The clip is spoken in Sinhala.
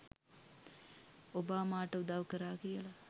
ඔබාමාට උදව් කරා කියල